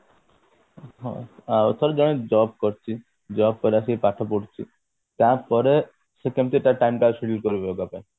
ହୁଁ ଆଉ ତାହେଲେ ଜଣେ job କରୁଛି job କରିବା ସହିତ ପାଠ ପଢୁଛି ତାପରେ ସେ କେମତି ତାର time ତାକୁ scheduled କରିବ yoga ପାଇଁ